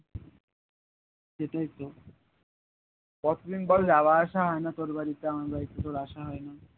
এইটাই তো কত দিন বল যাওয়া আসা হয় না তোর বাড়িতে আমার বাড়িতে তোর আসা হয় না